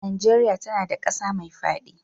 Nigeria tAna da ƙasa me fadi